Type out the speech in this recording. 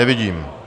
Nevidím.